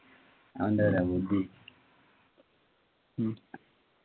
അവൻ്റെ ഏതാ ബുദ്ധി ഉം